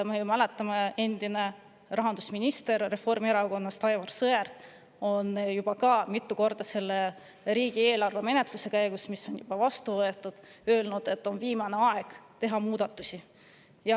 Me ju mäletame seda, kuidas Reformierakonna endine rahandusminister Aivar Sõerd riigieelarve menetluse käigus mitu korda ütles, et on viimane aeg teha muudatusi.